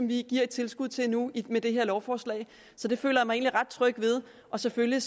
vi giver et tilskud til nu med det her lovforslag så det føler jeg ret tryg ved selvfølgelig